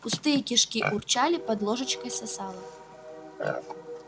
пустые кишки урчали под ложечкой сосало